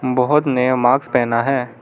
बहुत नया मार्क्स पहना है।